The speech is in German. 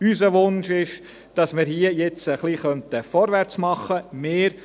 Unser Wunsch ist es, dass wir hier jetzt etwas vorwärts machen könnten.